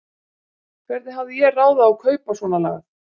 Hvernig hafði ég ráð á að kaupa svonalagað?